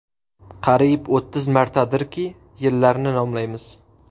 Qariyb o‘ttiz martadirki, yillarni nomlaymiz.